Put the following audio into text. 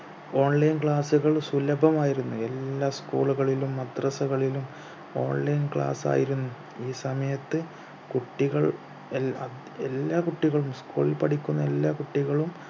online class കൾ സുലഭമായിരുന്നു എല്ലാ school കളിലും മദ്രസകളിലും online class ആയിരുന്നു ഈ സമയത്ത് കുട്ടികൾ എൽ അ എല്ലാ കുട്ടികളും school ൽ പഠിക്കുന്ന എല്ലാ കുട്ടികളും